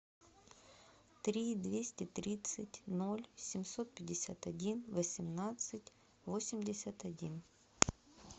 три двести тридцать ноль семьсот пятьдесят один восемнадцать восемьдесят один